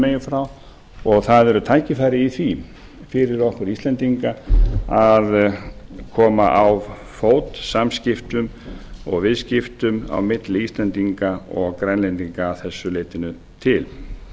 megin frá og það eru tækifæri í því fyrir okkur íslendinga að koma á fót samskiptum og viðskiptum á milli íslendinga og grænlendinga að þessu leytinu til